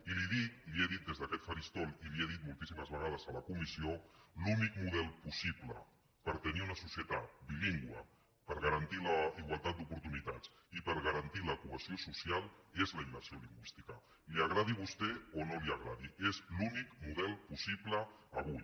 i li ho dic li ho he dit des d’aquest faristol i li ho he dit moltíssimes vegades a la comissió l’únic model possible per tenir una societat bilingüe per garantir la igualtat d’oportunitats i per garantir la cohesió social és la immersió lingüística li agradi a vostè o no li agradi és l’únic model possible avui